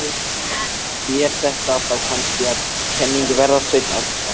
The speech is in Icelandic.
ÞÉR ÞETTA ÞÁ KANNSKI AÐ KENNINGU VERÐA, SVEINN ÁRNASON!